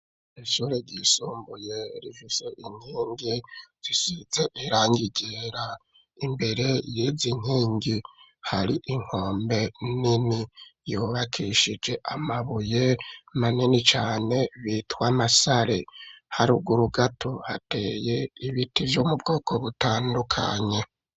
Ishure ryisumbuye rifise inkingi zisize irangi ryera, imbere yizi nkingi hari inkombe nini yubakishije amabuye manini cane bitwa Masare. Haruguru gato hateye ibiti vyo mu bwoko butandukanye.